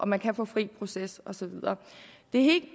man kan få fri proces og så videre